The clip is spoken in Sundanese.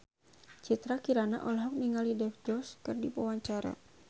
Citra Kirana olohok ningali Dev Joshi keur diwawancara